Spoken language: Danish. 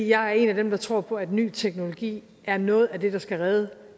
jeg er en af dem der tror på at ny teknologi er noget af det der skal redde